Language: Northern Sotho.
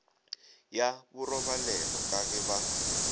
ya borobalelo ka ge ba